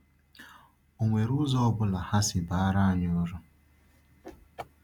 Ọ nwere ụzọ ọ bụla ha si bara anyị uru?